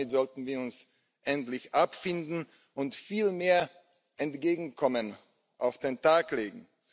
Damit sollten wir uns endlich abfinden und viel mehr Entgegenkommen an den Tag legen.